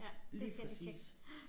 Ja det skal jeg lige tjekke